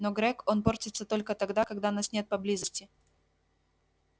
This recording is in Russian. но грег он портится только тогда когда нас нет поблизости